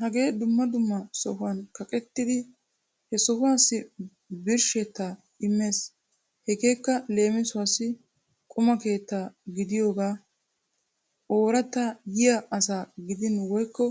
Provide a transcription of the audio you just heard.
Hagee dumma dumma sohotun kaqettidi he yohuwaassi birshshettaa immees. Hegeekka leemisuwaassi quma keetta gidiyogaa ooratta yiya asa gidin woykko